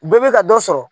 Bɛɛ bɛ ka dɔ sɔrɔ